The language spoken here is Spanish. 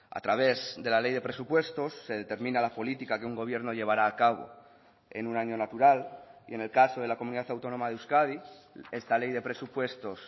a través de la ley de presupuestos se determina la política que un gobierno llevará a cabo en un año natural y en el caso de la comunidad autónoma de euskadi esta ley de presupuestos